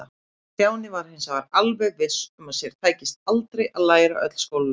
Stjáni var hins vegar alveg viss um að sér tækist aldrei að læra öll skólaljóðin.